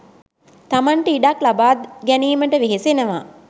තමන්ට ඉඩක් ලබා ගැනීමට වෙහෙසෙනවා.